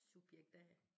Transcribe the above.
Subjekt A